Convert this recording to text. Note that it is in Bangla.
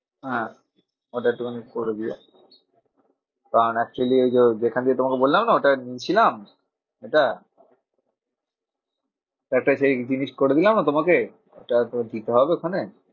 হ্যাঁ ওটা একটুখানি করে দিও। কারণ actually ওই যো যেখান দিয়ে তোমাকে বললাম না ওটা ছিলাম এটা একটা সেই জিনিস করে দিলামনা তোমাকে? ওটা তো দিতে হবে ওখানে।